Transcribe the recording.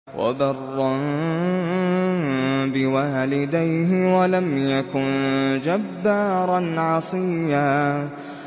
وَبَرًّا بِوَالِدَيْهِ وَلَمْ يَكُن جَبَّارًا عَصِيًّا